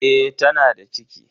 E, tana da ciki.